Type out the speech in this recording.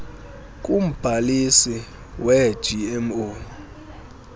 kumbhalisi wee gmo